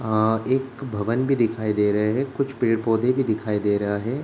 अ एक भवन भी दिखाई दे रहे है। कुछ पेड़-पौधे भी दिखाई दे रहा हैं।